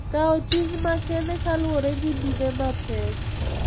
Kawo ting` makende kaluwore gi mine mapek.